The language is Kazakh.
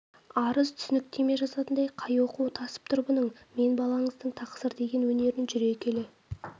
арыз-түсініктеме жазатындай қай оқуы тасып тұр бұның мен балаңыздың тақсыр деген өнерін жүре келе